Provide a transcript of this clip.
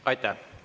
Aitäh!